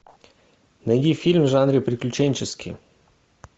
найди фильм в жанре приключенческий